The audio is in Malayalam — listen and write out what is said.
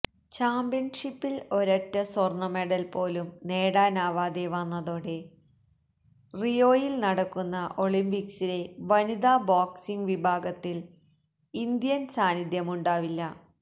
ചാമ്പ്യന്ഷിപ്പില് ഒരൊറ്റ സ്വര്ണമെഡല് പോലും നേടാനാവാതെ വന്നതോടെ റിയോയില് നടക്കുന്ന ഒളിമ്പിക്സിലെ വനിതാ ബോക്സിങ് വിഭാഗത്തില് ഇന്ത്യന് സാന്നിധ്യമുണ്ടാവില്ല